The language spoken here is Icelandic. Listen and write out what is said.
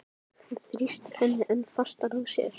Hann þrýstir henni enn fastar að sér.